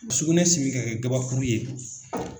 Sugunɛ simi ka kɛ kabakuru ye